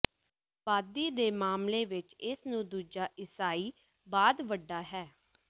ਆਬਾਦੀ ਦੇ ਮਾਮਲੇ ਵਿੱਚ ਇਸ ਨੂੰ ਦੂਜਾ ਈਸਾਈ ਬਾਅਦ ਵੱਡਾ ਹੈ